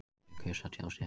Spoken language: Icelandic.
Þau kusu að tjá sig ekki